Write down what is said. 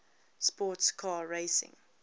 sports car racing